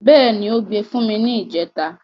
Bẹ́ẹ̀ni, ó gbe fún mi ni ìjẹta.